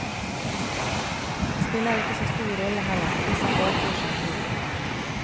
Det spiller ikke så stor rolle heller, hvis han bare får seg en jobb.